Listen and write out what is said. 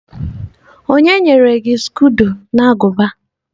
O nyere gi skodo na aguba?